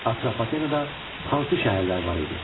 Atropatenada hansı şəhərlər var idi?